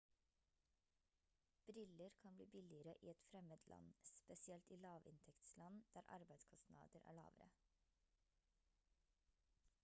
briller kan bli billigere i et fremmed land spesielt i lavinntektsland der arbeidskostnader er lavere